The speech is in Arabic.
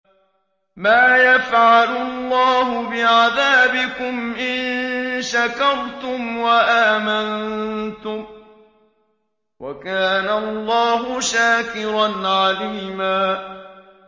مَّا يَفْعَلُ اللَّهُ بِعَذَابِكُمْ إِن شَكَرْتُمْ وَآمَنتُمْ ۚ وَكَانَ اللَّهُ شَاكِرًا عَلِيمًا